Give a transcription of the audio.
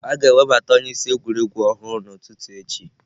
A ga-ewebata onyeisi egwuregwu ọhụrụ n'ụtụtụ echi.